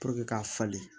k'a falen